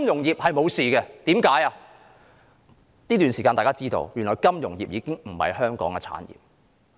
在這段時間，大家知道，原來金融服務業已不是香港的產業。